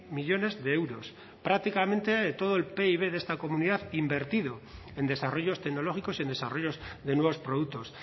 millónes de euros prácticamente todo el pib de esta comunidad invertido en desarrollos tecnológicos y en desarrollos de nuevos productos